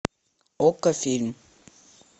окко фильм